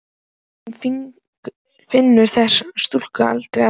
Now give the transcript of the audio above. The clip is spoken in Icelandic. Hún finnur þessa kúlu aldrei aftur.